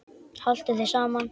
Haltu þér saman